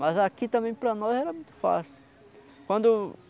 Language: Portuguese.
Mas aqui também para nós era muito fácil. Quando.